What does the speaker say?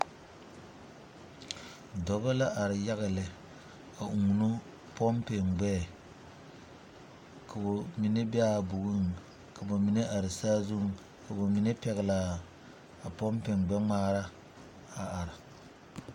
Dɔba la are yaga lɛ a uunu pompi gbɛɛ k'o mine be a bogiŋ ka ba mine are saazuŋ k'o mine pɛgle a pompi gbɛŋmaara a are.